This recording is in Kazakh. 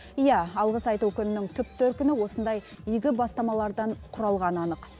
иә алғыс айту күнінің түп төркіні осындай игі бастамалардан құрылғаны анық